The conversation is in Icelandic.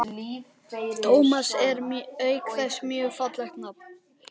Tómas er auk þess mjög fallegt nafn.